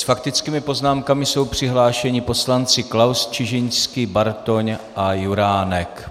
S faktickými poznámkami jsou přihlášeni poslanci Klaus, Čižinský, Bartoň a Juránek.